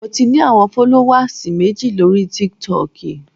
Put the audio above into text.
Mo ti ní àwọn fọ́lówàs méjì lóri Tiktok.